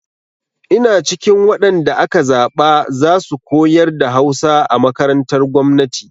Ina cikin waɗan da aka zaɓa za su koyar da Hausa a makarantar gwamnati.